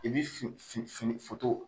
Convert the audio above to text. I bi fin fin fin